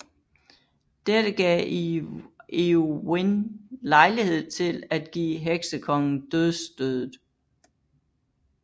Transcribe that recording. Dette gav Eowyn lejlighed til at give Heksekongen dødsstødet